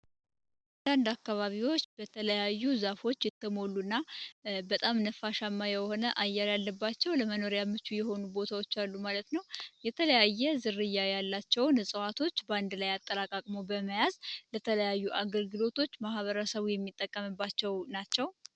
አንዳንድ አካባቢዎች በተለያዩ ዛፎች የተሞሉ እና በጣም ነፋሻማ የሆነ አየር ያለባቸው ለመኖሪያ ምቹ የሆኑ ቦታዎች አሉ ማለት ነው፡፡ የተለያየ ዝርያ ያላቸውን እጽዋቶች በአንድ ላይ አጠራቅቅሞ በመያዝ ለተለያዩ አገርግሎቶች ማህበረ ሰቡ የሚጠቀምባቸው ናቸው፡፡